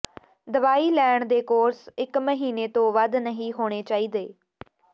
ਦਵਾਈ ਲੈਣ ਦੇ ਕੋਰਸ ਇੱਕ ਮਹੀਨੇ ਤੋਂ ਵੱਧ ਨਹੀਂ ਹੋਣੇ ਚਾਹੀਦੇ